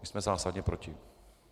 My jsme zásadně proti.